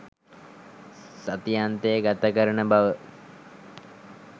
සති අන්තය ගතකරන බව.